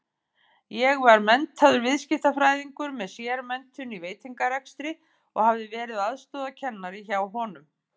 Ég var menntaður viðskiptafræðingur með sérmenntun í veitingarekstri og hafði verið aðstoðarkennari hjá honum.